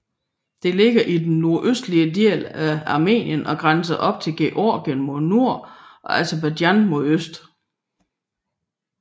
Det ligger i den nordøstlige del af Armenien og grænser op til Georgien mod nord og Aserbajdsjan mod øst